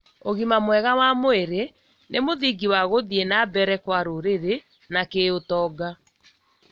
ũgima mwega wa mwĩrĩ nĩ mũthingi wa gũthiĩ na mbele kwa rũrĩrĩ na kĩũtonga